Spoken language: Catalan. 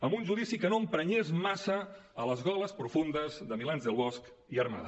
amb un judici que no emprenyés massa les goles profundes de milans del bosch i armada